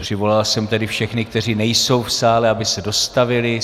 Přivolal jsem tedy všechny, kteří nejsou v sále, aby se dostavili.